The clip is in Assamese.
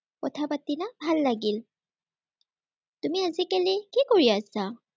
কথা পাতিলা, ভাল লাগিল। তুমি আজিকালি কি কৰি আছা?